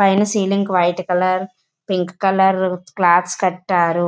పైన ceiling white colour pink colour clothes కట్టారు.